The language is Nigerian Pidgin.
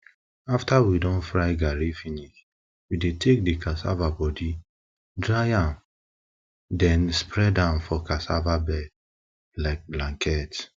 after we don fry garri finish we dey take the cassava body dry am then spread am for cassava bed like blanket